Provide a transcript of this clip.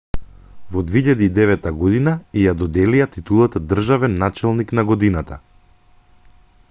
во 2009 година ѝ ја доделија титулата државен началник на годината